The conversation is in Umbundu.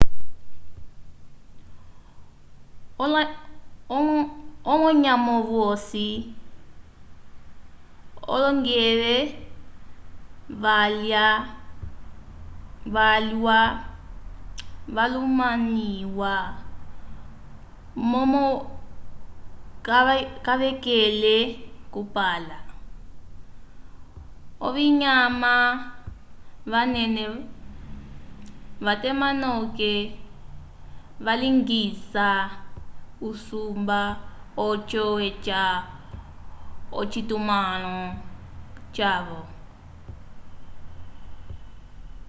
olonyamovyosi olongeve vyalwa valumaniwa momo kavakele kupala ovinyama vanene vatema noke valingisa usumba oco eca ocitumãlo cavo